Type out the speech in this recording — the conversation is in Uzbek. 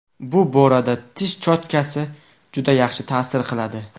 Bu borada tish cho‘tkasi juda yaxshi ta’sir qiladi.